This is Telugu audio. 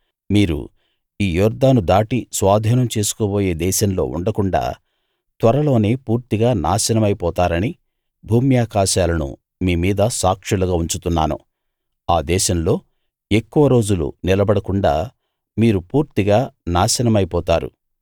మీరు ఈ యొర్దాను దాటి స్వాధీనం చేసుకోబోయే దేశంలో ఉండకుండాా త్వరలోనే పూర్తిగా నాశనమై పోతారని భూమ్యాకాశాలను మీమీద సాక్షులుగా ఉంచుతున్నాను ఆ దేశంలో ఎక్కువ రోజులు నిలబడకుండా మీరు పూర్తిగా నాశనమైపోతారు